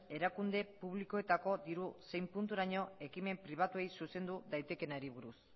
erakunde publikoetako diru zein punturaino ekimen pribatuei zuzendu daitekeenari buruz